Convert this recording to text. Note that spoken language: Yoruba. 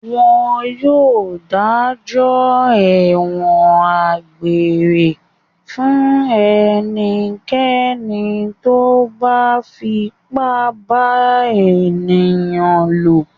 Wọn yóò dájọ́ ẹ̀wọ̀n egbére fún ẹnikẹ́ni tó bá fipá bá ènìyàn lò.